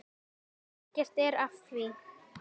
Ekkert er að því.